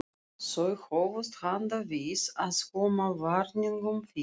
Þau hófust handa við að koma varningnum fyrir.